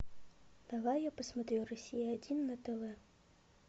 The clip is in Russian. давай я посмотрю россия один на тв